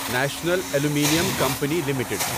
national aluminium company limited